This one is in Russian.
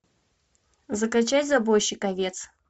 закачай забойщик овец